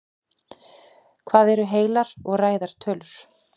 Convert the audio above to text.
hvað eru heilar og ræðar tölur